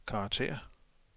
karakter